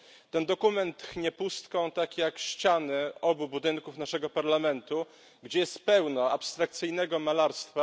Ten dokument tchnie pustką tak jak ściany obu budynków naszego Parlamentu, gdzie jest pełno abstrakcyjnego malarstwa.